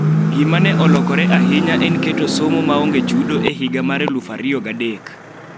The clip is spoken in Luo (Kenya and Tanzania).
Gima ne olokore ahinya ne en keto somo ma onge chudo e higa mar 2003.